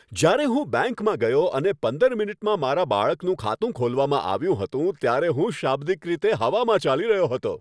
જ્યારે હું બેંકમાં ગયો અને પંદર મિનિટમાં મારા બાળકનું ખાતું ખોલવામાં આવ્યું હતું ત્યારે હું શાબ્દિક રીતે હવામાં ચાલી રહ્યો હતો.